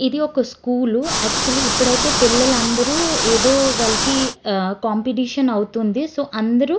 ఇది ఒక స్కూల్ . ఆకచ్వాల్లి ఇప్పుడైతే పిల్లలందరూ ఏదో వాళ్ళకి కాంపిటీషన్ అవుతుంది. సో అందరూ --